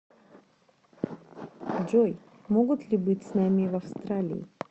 джой могут ли быть с нами в австралии